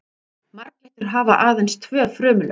Marglyttur hafa aðeins tvö frumulög.